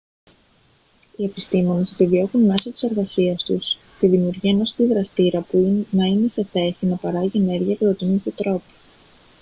οι επιστήμονες επιδιώκουν μέσω της εργασίας τους τη δημιουργία ενός αντιδραστήρα που να είναι σε θέση να παράγει ενέργεια κατά τον ίδιο τρόπο